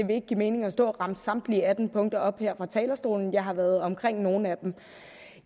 vil ikke give mening at stå og remse samtlige atten punkter op her fra talerstolen jeg har været omkring nogle af dem